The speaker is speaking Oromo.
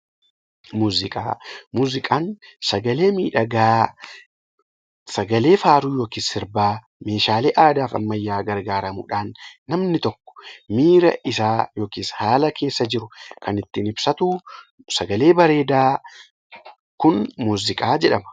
Muuziqaan sagalee miidhagaa sagalee faaruu yookaan sirbaa meeshaalee aadaa fi ammayyaa gargaaramuudhaan namni tokko miira isaa yookiin haala isaa kan ittiin ibsatu sagaleen bareedaa Kun muuziqaa jedhama